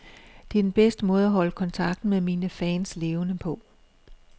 Det er den bedste måde at holde kontakten med mine fans levende på.